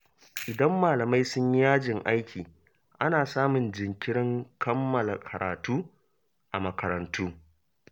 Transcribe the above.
Idan malamai sun yi yajin aiki, ana samun jinkirin kammala karatu a makarantu.